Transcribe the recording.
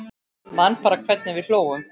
Man bara hvernig við hlógum.